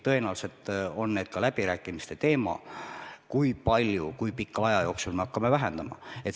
Tõenäoliselt on läbirääkimiste teema, kui palju ja kui pika aja jooksul me peame fosiilkütust vähendama.